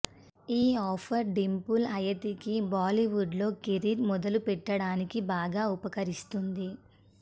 ఈ ఆఫర్ డింపుల్ హయాతీకి బాలీవుడ్లో కెరీర్ మొదలుపెట్టడానికి బాగా ఉపకరిస్తుంది